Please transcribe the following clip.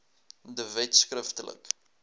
de wet skriftelik